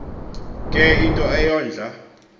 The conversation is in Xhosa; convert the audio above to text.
ke yinto eyondla